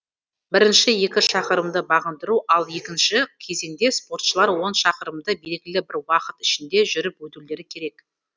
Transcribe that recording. біріншісі екі шақырымды бағындыру ал екінші кезеңде спортшылар он шақырымды белгілі бір уақыт ішінде жүріп өтулері керек